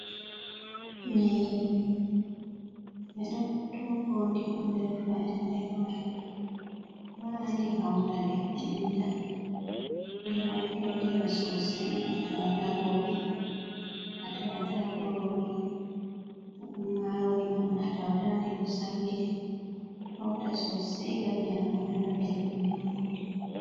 Nyiiri, ɓe tuuko ndi on nder fayannde maari haa ndi hawta ndi ɓennda ndi moftootira soosay no a tawataa goɓe, a tawata kuroori, to ɗum maaroori on maa, a tawata ndi ɗo sankiti, hawta soosay ngam nyaamoowo nana belɗum nyaamgo ndi.